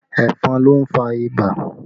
Ẹ̀fọn ló ń fà ibà